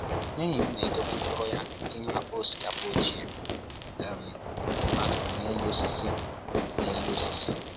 Enyi m na-edobe mkpụrụ ya n’ime akpa osikapa ochie um a tụrụ n’elu osisi n’elu osisi